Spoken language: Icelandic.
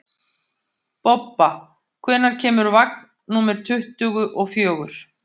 Bobba, hvenær kemur vagn númer tuttugu og fjögur?